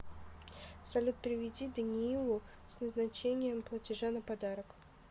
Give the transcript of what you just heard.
салют переведи даниилу с назначением платежа на подарок